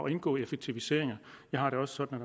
at indgå i effektiviseringer jeg har det også sådan